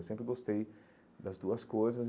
Eu sempre gostei das duas coisas.